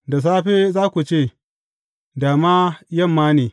Da safe za ku ce, Da ma yamma ne!